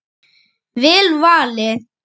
Vel valið.